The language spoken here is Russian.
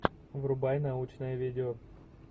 врубай научное видео